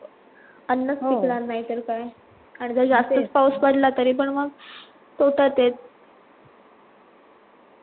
अन्नस पिकला नाहीतर काय आणि जर जासतस पाऊस पडला तरी पण मग तोट्यात आहे